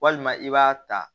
Walima i b'a ta